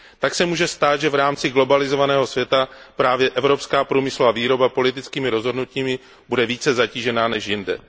Tak se může stát, že v rámci globalizovaného světa bude právě evropská průmyslová výroba politickými rozhodnutími zatížena více než jinde.